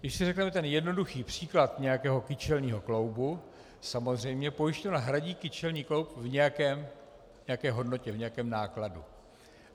Když si řekneme ten jednoduchý příklad nějakého kyčelního kloubu, samozřejmě pojišťovna hradí kyčelní kloub v nějaké hodnotě, v nějakém nákladu.